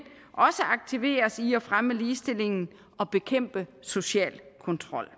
aktiveres i at fremme ligestillingen og bekæmpe social kontrol